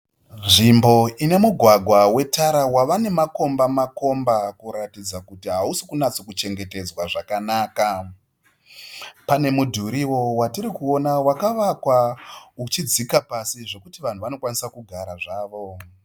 Nzvimbo ine mugwagwa wetara wave nemakomba makomba kuratidza kuti hausi kunatso kuchengetedzwa zvakanaka. Pane mudhuriwo watirikuona wakavakwa uchidzika pasi zvekuti vanhu vanokwanisa kugara zvavo.